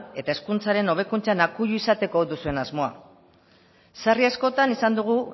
eta hezkuntzaren hobekuntzan akuilu izateko duzuen asmoa sarri askotan izan dugu